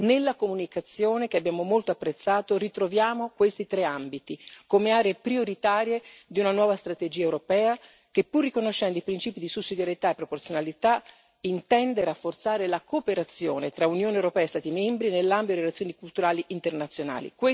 Nella comunicazione, che abbiamo molto apprezzato, ritroviamo questi tre ambiti come aree prioritarie di una nuova strategia europea che, pur riconoscendo i principi di sussidiarietà e proporzionalità, intende rafforzare la cooperazione tra Unione europea e Stati membri nell'ambito di relazioni culturali internazionali.